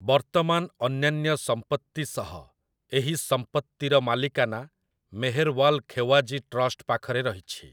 ବର୍ତ୍ତମାନ ଅନ୍ୟାନ୍ୟ ସମ୍ପତ୍ତି ସହ ଏହି ସମ୍ପତ୍ତିର ମାଲିକାନା ମେହେରୱାଲ୍ ଖେୱାଜୀ ଟ୍ରଷ୍ଟ ପାଖରେ ରହିଛି ।